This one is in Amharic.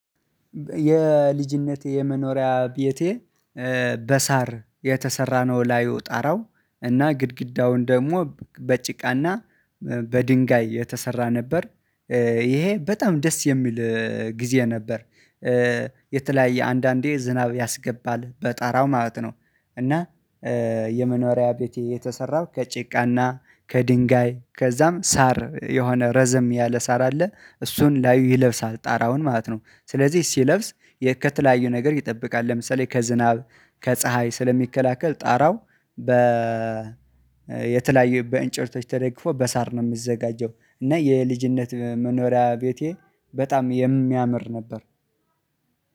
የልጅነቴ የመኖሪያ ቤቴ በሳር የተሰራነው ላይ ጠራው እና ግድግዳውን ደግሞ በጭቃና በድንጋይ የተሰራ ነበር። ይሄ በጣም ደስ የሚል ጊዜ ነበር። የተለያየ አንዳንዴ ዝናብ ያስገባል በጣራው ማለት ነው። እና የመኖሪያ ቤቴ የተሰራው ከጭቃና ከድንጋይ ከዛም ሳር የሆነ ረዘም ያለ ሳር አለ እሱን ላይ ይለብሳል ጣራውን ማለት ነው። ስለዚህ ሲለብስ ከተለያዩ ነገር ይጠብቃል። ለምሳሌ ከዝናብ ከፀሀይ ስለሚከላከል ጣራው በ የተለያዩ በእንጨቶች ተደግፎ በሳር ነው። የምዘጋጀው እና የልጅነት መኖሪያ ቤቴ በጣም የሚያምር ነበር።